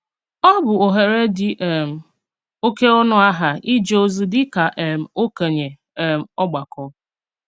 Ọ bụ́ òhèrè dị̀ um òké ọnù-àhà íjè òzí díkà um òkènye um ògbàkọ̀.